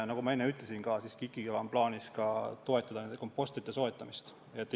Nagu ma enne ütlesin, KIK-il on plaanis kompostrite soetamist toetada.